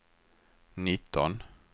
nitton